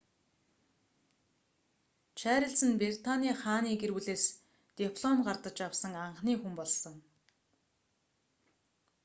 чарлиз нь британы хааны гэр бүлээс диплом гардаж авсан анхны хүн болсон